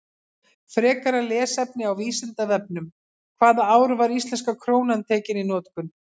Frekara lesefni á Vísindavefnum: Hvaða ár var íslenska krónan tekin í notkun?